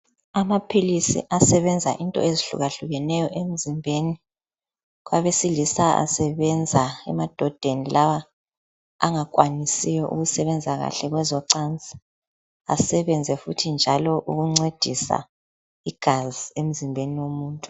Amaphilisi asebenza into ezihlukahlukeneyo emzimbeni. Kwabesilisa esabenza emadodeni lawa angakwanisiyo ukusebenza kahle kwezocansi, asebenze futhi njalo ukuncedisa igazi emzimbeni womuntu.